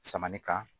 Sama ni ka